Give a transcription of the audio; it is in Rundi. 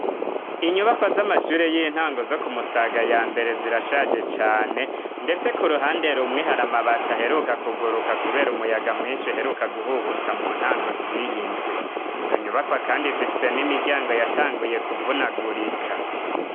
Inyubakwa z'amashure y'intango zo ku musaga ya mbere zirashaje cane ndetse ku ruhande rumwe haramabati aheruka kuguruka kubera umuyaga mwinshi uheruka guhuhuta mu ntango ziyindwi .Izo nyubakwa kandi zifise n'imiryango yatanguye kuvunagurika.